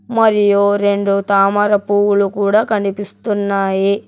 మరియు రెండు తామర పువ్వులు కూడ కనిపిస్తున్నాయి.